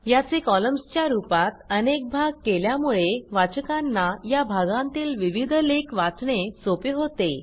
याचे कॉलम्सच्या रूपात अनेक भाग केल्यामुळे वाचकांना या भागांतील विविध लेख वाचणे सोपे होते